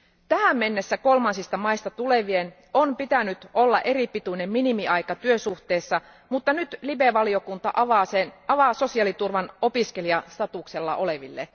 Tähän mennessä kolmansista maista tulevien on pitänyt olla eripituinen minimiaika työsuhteessa, mutta nyt LIBE valiokunta avaa sosiaaliturvan opiskelijastatuksella oleville.